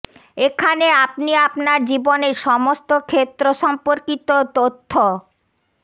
এখানে আপনি আপনার জীবনের সমস্ত ক্ষেত্র সম্পর্কিত তথ্য প